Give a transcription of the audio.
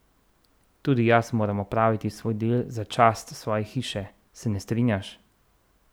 Tudi jaz moram opraviti svoj del za čast svoje hiše, se ne strinjaš?